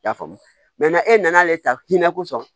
I y'a faamu e nana ale ta hinɛ kosɔn